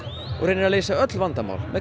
og reynir að leysa öll vandamál með